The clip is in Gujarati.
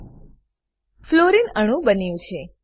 ફ્લોરીન ફ્લોરિન અણુ બન્યું છે